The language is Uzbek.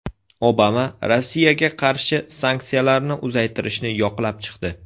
Obama Rossiyaga qarshi sanksiyalarni uzaytirishni yoqlab chiqdi.